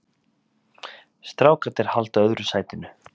Strákarnir halda öðru sætinu